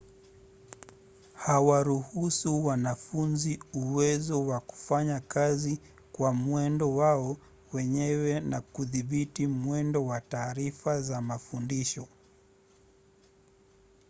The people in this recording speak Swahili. huwaruhusu wanafunzi uwezo wa kufanya kazi kwa mwendo wao wenyewe na kudhibiti mwendo wa taarifa za mafundisho